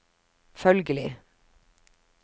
følgelig